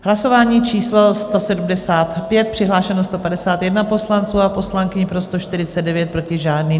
Hlasování číslo 175, přihlášeno 151 poslanců a poslankyň, pro 149, proti žádný.